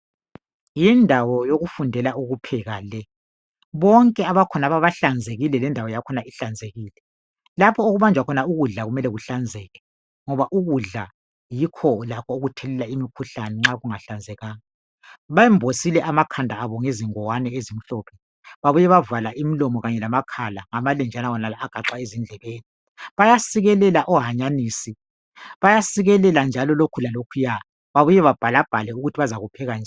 Yindawo yokufundela ukupheka le. Bonke abakhonapho bahlanzekile Iendawo yakhona ihlanzekile, lapho okubanjwa khona ukudla kufanele kuhlanzeke ngoba ukudla yikho lakho okuthelela imikhuhlane nxa kungahlanzekanga. Bambosile amakhanda abo ngezingowane ezimhlophe babuya bavala lamakhala ngamalenjana onala agaxwa ezindlebeni. Bayasikelela ohanyanisi, bayasikelela njalo lokhu lalokhuya babuye babhalabhale ukuthi bazakupheka njani.